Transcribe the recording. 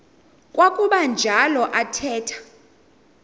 kwakuba njalo athetha